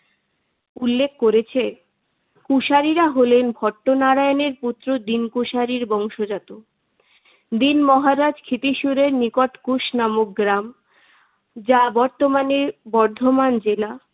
উল্লেখ করেছে। কুশারিরা হলেন ভট্টনারায়ণের পুত্র দীন কুশারির বংশজাত। দীন মহারাজ ক্ষীতিসুরের নিকট কুশ নামক গ্রাম, যা বর্তমানে বর্ধমান জেলা